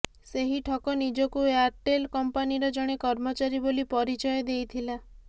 ସେହି ଠକ ନିଜକୁ ଏୟାର୍ଟେଲ୍ କଂପାନିର ଜଣେ କର୍ମଚାରୀ ବୋଲି ପରିଚୟ ଦେଇଥିଲା